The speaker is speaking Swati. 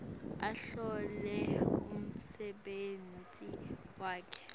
ahlole umsebenti wakhe